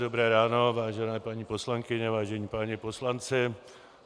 Dobré ráno, vážené paní poslankyně, vážení páni poslanci.